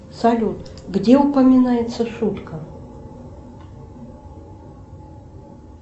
салют где упоминается шутка